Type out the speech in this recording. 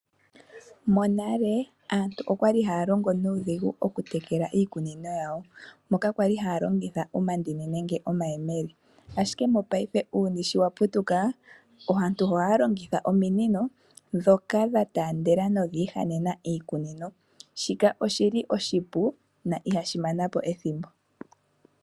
Monale aantu okwali haya longo nuudhigu mokutekela iimeno yawo moka kwalinhaya longitha omandini nenge omayemele, ashike mopaife uuyuni sho wa putuka, aantu ohaya longitha ominino dhoka dha taandela nodha ihanena iikunino. Shika oshili oshipu na ihashi mana po ethimbo.